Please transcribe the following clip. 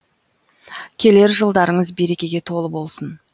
келер жылдарыңыз берекеге толы болсын